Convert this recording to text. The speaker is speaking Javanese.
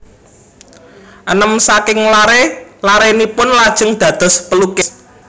Enem saking laré larénipun lajeng dados pelukis